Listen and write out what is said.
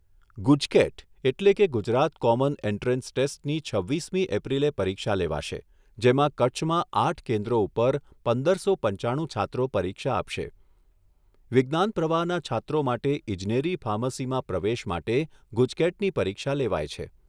ગુજકેટ એટલે કે Gujarat common entrance ટેસ્ટની છવ્વીસમી એપ્રિલે પરીક્ષા લેવાશે, જેમાં કચ્છમાં આઠ કેન્દ્રો ઉપર પંદરસો પંચાણું છાત્રો પરીક્ષા આપશે. વિજ્ઞાન પ્રવાહના છાત્રો માટે ઈજનેરી ફાર્મસીમાં પ્રવેશ માટે ગુજકેટની પરીક્ષા લેવાય છે.